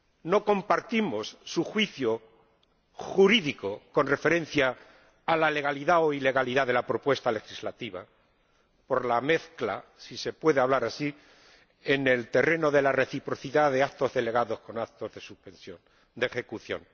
No compartimos su juicio jurídico con referencia a la legalidad o ilegalidad de la propuesta legislativa, por la mezcla, si se puede hablar así, en el terreno de la reciprocidad de actos delegados y actos de ejecución.